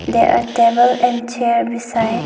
There are table and chair beside.